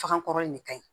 Fakan kɔrɔ in de ka ɲi